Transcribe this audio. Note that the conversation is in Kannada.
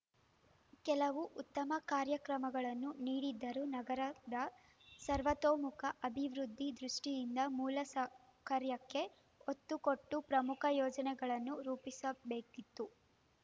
ಕೆಲವು ಉತ್ತಮ ಕಾರ್ಯಕ್ರಮಗಳನ್ನು ನೀಡಿದ್ದರೂ ನಗರದ ಸರ್ವತೋಮುಖ ಅಭಿವೃದ್ಧಿ ದೃಷ್ಟಿಯಿಂದ ಮೂಲ ಸೌಕರ್ಯಕ್ಕೆ ಒತ್ತು ಕೊಟ್ಟು ಪ್ರಮುಖ ಯೋಜನೆಗಳನ್ನು ರೂಪಿಸಬೇಕಿತ್ತು